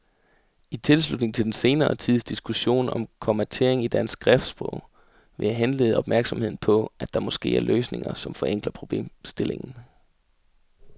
I tilslutning til den senere tids diskussion om kommatering i dansk skriftsprog vil jeg henlede opmærksomheden på, at der måske er løsninger, som forenkler problemstillingen.